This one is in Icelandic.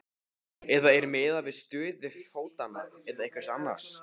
Eða er miðað við stöðu fótanna eða einhvers annars?